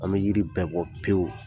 An bɛ yiri bɛɛ bɔ pewu